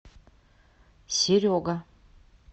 серега